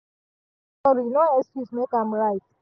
i say sorry no excuse make am right